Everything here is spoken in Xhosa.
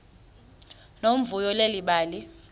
nomvuyo leli bali